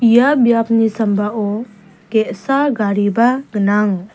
ia biapni sambao ge·sa gariba gnang.